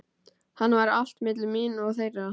Þannig var allt milli mín og þeirra.